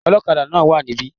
Ọlọ́kadà náà wà níbí